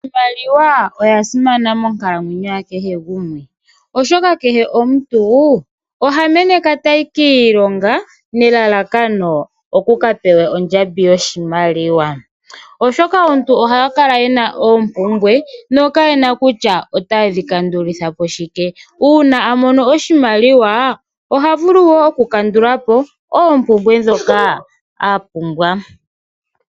Iimaliwa oya simana monkalamwenyo yakehe gumwe , oshoka kehe omuntu oha meneka tayi kiilonga nelalakano oku kapewe ondjambi yoshimaliwa, oshoka aantu oha kala yena opumbwe nokayena kutya ota dhi kandulithapo shike, uuna amono oshimaliwa oha vulu wo oku kandulapo opumbwe dhoka apumbwa.